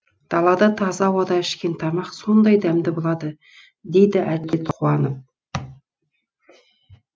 далада таза ауада ішкен тамақ сондай дәмді болады дейді әділет қуанып